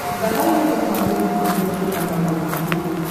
давай я посмотрю на смотрешке канал рубль ти ви